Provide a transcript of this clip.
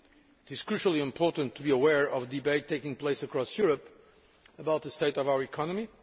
It is crucially important to be aware of the debate taking place across Europe about the state of our economy.